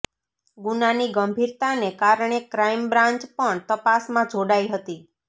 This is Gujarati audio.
ગુનાની ગંભીરતાને કારણે ક્રાઈમ બ્રાંચ પણ તપાસમાં જોડાઈ હતી